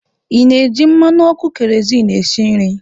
Ị na-eji mmanụ ọkụ keroziinu esi nri?